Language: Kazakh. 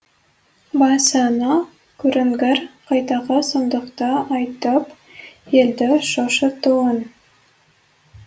басыңа көрінгір қайдағы сұмдықты айтып елді шошытуын